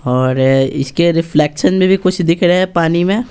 और इसके रिफ्लेक्शन में भी कुछ दिख रहा है पानी में।